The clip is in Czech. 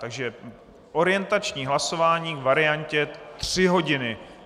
Takže orientační hlasování k variantě tři hodiny.